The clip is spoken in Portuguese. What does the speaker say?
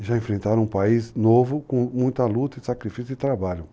E já enfrentaram um país novo, com muita luta e sacrifício de trabalho.